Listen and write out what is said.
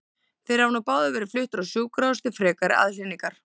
Þeir hafa nú báðir verið fluttir á sjúkrahús til frekari aðhlynningar.